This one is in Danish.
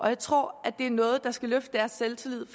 jeg tror det er noget der skal løfte deres selvtillid